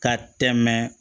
Ka tɛmɛ